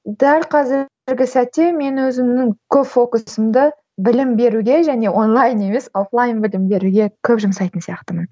дәл қазіргі сәтте мені өзімнің көп фокусымды білім беруге және онлайн емес оффлайн білім беруге көп жұмсайтын сияқтымын